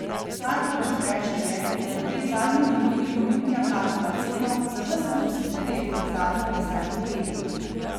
Kar hočem reči, je, da je v tej zadnji minuti Olimpija plačala ceno za ves klubski nered v zadnjih desetih letih.